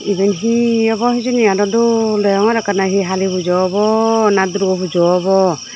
eben hi obo hijeni adaw dol deyongor ekkoney hi hali pujo obo na durgo pujo abow.